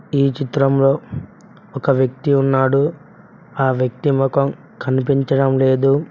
ఈ చిత్రంలో ఒక వ్యక్తి ఉన్నాడు ఆ వ్యక్తి మొఖం కనిపించడం లేదు.